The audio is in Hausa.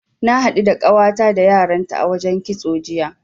Na haɗu da ƙawata da yaranta a wajen kitso, jiya.